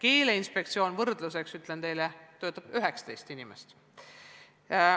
Ütlen teile võrdluseks, et Keeleinspektsioonis töötab 19 inimest.